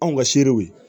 Anw ka seerew ye